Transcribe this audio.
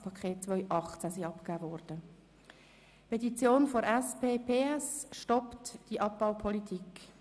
Erstens: Petition der SP-PS «Stoppt die Abbaupolitik».